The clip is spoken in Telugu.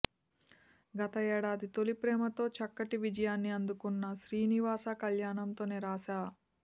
గత ఏడాది తొలిప్రేమ తో చక్కటి విజయాన్ని అందుకున్న శ్రీనివాస కళ్యాణం తో నిరాశ